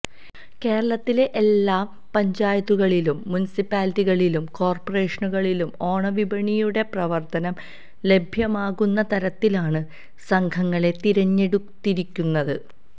കേരളത്തിലെ എല്ലാ പഞ്ചായത്തുകളിലും മുനിസിപ്പാലിറ്റികളിലും കോര്പ്പറേഷനുകളിലും ഓണവിപണിയുടെ പ്രവര്ത്തനം ലഭ്യമാകുന്ന തരത്തിലാണ് സംഘങ്ങളെ തിരഞ്ഞെടുത്തിരിക്കുന്നത്